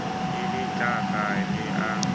e le tlaka le a